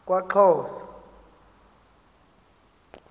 kwaxhosa